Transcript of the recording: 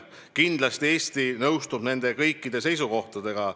Kindlasti Eesti nõustub kõikide nende seisukohtadega.